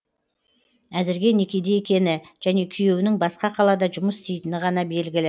әзірге некеде екені және күйеуінің басқа қалада жұмыс істейтіні ғана белгілі